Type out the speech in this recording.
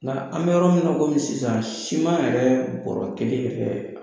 Nka an mɛ yɔrɔ min kɔmi sisan yɛrɛ bɔrɔ kelen yɛrɛ